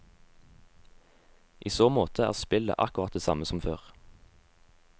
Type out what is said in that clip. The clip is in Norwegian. I så måte er spillet akkurat det samme som før.